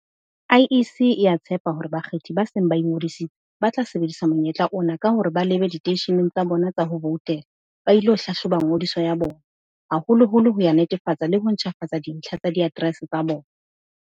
IEC e a tshepa hore bakgethi ba seng ba ingodisitse, ba tla sebedisa monyetla ona ka hore ba lebe diteisheneng tsa bona tsa ho voutela ba ilo hlahloba ngodiso ya bona, haholoholo ho ya netefatsa le ho ntjhafatsa dintlha tsa di aterese tsa bona.